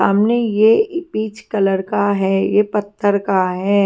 सामने यह peach colour का है यह पत्थर का है।